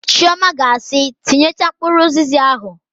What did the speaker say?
Chiọma ga asị, "tinyechaa mkpụrụ ụzịza ahụ"!